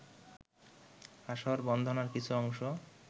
আসর-বন্দনার কিছু অংশ